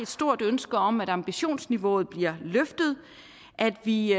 stort ønske om at ambitionsniveauet bliver løftet at vi i